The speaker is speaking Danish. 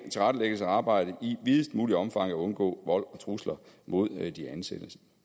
arbejdet i videst muligt omfang at undgå vold og trusler mod de ansatte